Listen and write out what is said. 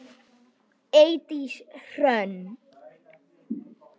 Eydís Hrönn.